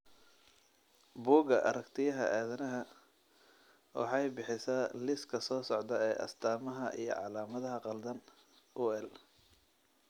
Bugga Aaragtiyaha Aadanaha waxay bixisaa liiska soo socda ee astamaha iyo calaamadaha qaldan eeUhl.